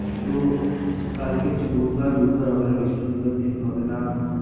তো কালকে হচ্ছে বুধবার বুধবার হবে না বৃহস্পতিবার দিন হবে না